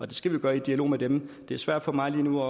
det skal vi gøre i dialog med dem det er svært for mig lige nu